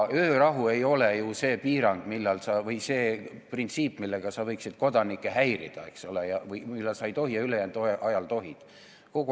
Öörahu ei ole see printsiip, mille alusel võiks öelda, millal sa võiksid kaaskodanikke häirida, eks ole, millal sa ei tohi ja siis ülejäänud ajal tohid.